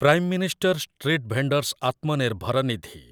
Prime minister street vendors Atmanirbhar Nidhi